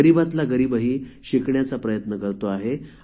गरीबातला गरीबही शिकण्याचा प्रयत्न करतो आहे